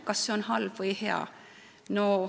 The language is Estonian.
Kas see on halb või hea?